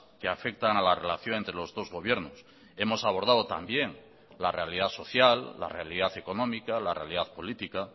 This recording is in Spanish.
que afectan a la relación entre los dos gobiernos hemos abordado también la realidad social la realidad económica la realidad política